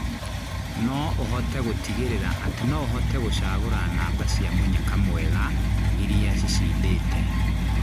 no ũhote gũtingirira atĩ no ũhote gũcagura namba cia mũnyaka mwega ĩrĩa cĩcindite